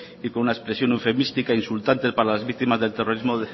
y con una expresión eufemística e insultante para las víctimas del terrorismo